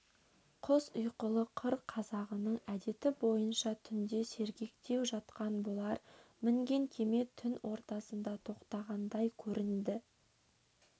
құс ұйқылы қыр қазағының әдеті бойынша түнде сергектеу жатқан бұлар мінген кеме түн ортасында тоқтағандай көрінді